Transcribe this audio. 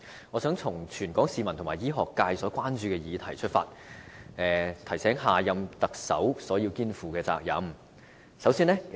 我想提出全港市民和醫學界所關注的議題，提醒下任特首他要肩負甚麼責任。